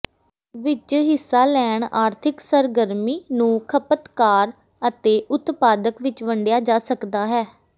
ਵਿਚ ਹਿੱਸਾ ਲੈਣ ਆਰਥਿਕ ਸਰਗਰਮੀ ਨੂੰ ਖਪਤਕਾਰ ਅਤੇ ਉਤਪਾਦਕ ਵਿੱਚ ਵੰਡਿਆ ਜਾ ਸਕਦਾ ਹੈ